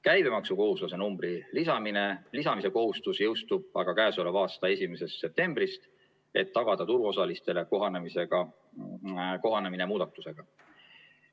Käibemaksukohustuslase numbri lisamise kohustus jõustub aga k.a 1. septembrist, et tagada turuosalistele kohanemine muudatusega.